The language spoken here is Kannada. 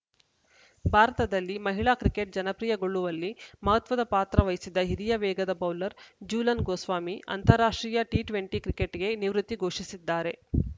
ಭಾರತದಲ್ಲಿ ಮಹಿಳಾ ಕ್ರಿಕೆಟ್‌ ಜನಪ್ರಿಯಗೊಳ್ಳುವಲ್ಲಿ ಮಹತ್ವದ ಪಾತ್ರ ವಹಿಸಿದ ಹಿರಿಯ ವೇಗದ ಬೌಲರ್‌ ಜೂಲನ್‌ ಗೋಸ್ವಾಮಿ ಅಂತಾರಾಷ್ಟ್ರೀಯ ಟಿ ಟ್ವೆಂಟಿ ಕ್ರಿಕೆಟ್‌ಗೆ ನಿವೃತ್ತಿ ಘೋಷಿಸಿದ್ದಾರೆ